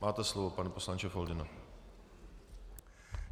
Máte slovo, pane poslanče Foldyno.